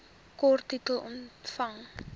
kort titel omvang